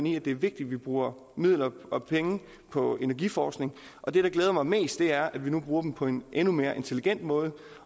i at det er vigtigt at vi bruger midler på energiforskning og det der glæder mig mest er at vi nu bruger dem på en endnu mere intelligent måde